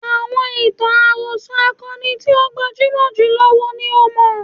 Àọn ìtàn àròsọ akọni tí ó gbajúmọ̀ jùlọ wo ni o mọ̀?